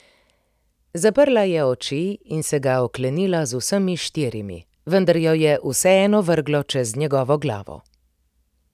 Zaprla je oči in se ga oklenila z vsemi štirimi, vendar jo je vseeno vrglo čez njegovo glavo.